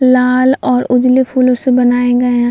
लाल और उजले फूलों से बनाए गए हैं।